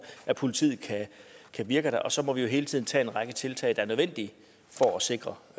at politiet kan virke der og så må vi jo hele tiden tage en række tiltag der er nødvendige for at sikre